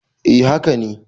A haka ne